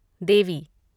देवी